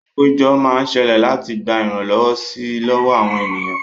Àpéjọ máa ń ṣẹlẹ̀ láti gba ìrànlọ́wọ́ si lọ́wọ́ àwọn ènìyàn